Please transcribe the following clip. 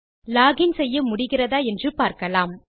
login செய்ய முடிகிறதா என்று பார்க்கலாம்